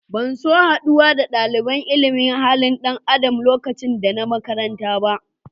Ban so haduwa da dalibain ilimin halin dan Adam lokacin da n'na makaranta ba.